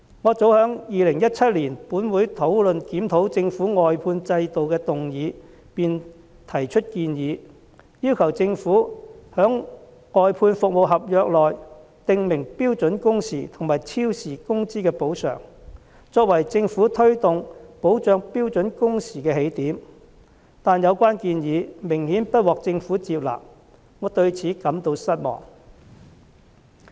我早在2017年，本會討論檢討政府外判制度的議案時便提出建議，要求政府在外判服務合約中，訂明標準工時和超時工資的補償，作為政府推動保障標準工時的起點，但有關建議顯然不獲政府接納，我對此感到失望。